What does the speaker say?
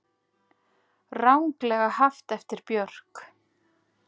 Ranglega haft eftir Björk